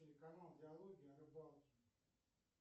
телеканал диалоги о рыбалке